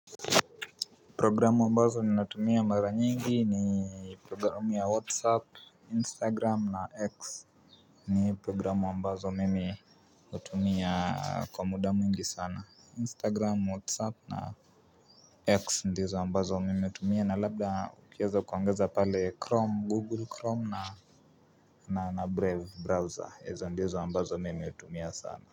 Programu ambazo ninatumia mara nyingi ni programu ya Whatsapp, Instagram na X ni programu ambazo mimi hutumia kwa muda mwingi sana Instagram, Whatsapp na X ndizo ambazo mimi hutumia na labda ukiweza kuongeza pale Chrome, Google Chrome na na Brave browser, hizo ndizo ambazo mimi hutumia sana.